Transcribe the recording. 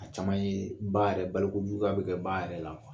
A caman ye ba yɛrɛ balokokojuguya bɛ kɛ ba yɛrɛ la